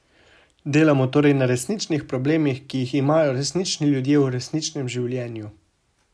Delamo torej na resničnih problemih, ki jih imajo resnični ljudje v resničnem življenju.